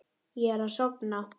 Ég er að sofna.